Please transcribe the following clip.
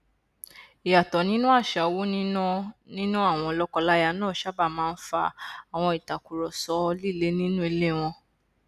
ìyàtọ nínú àṣà owó níná níná àwọn lọkọláya náà sábà máa n fa àwọn ìtàkurọsọ líle nínú ilé wọn